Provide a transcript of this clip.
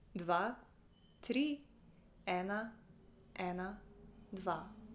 Dva, tri, ena, ena, dva.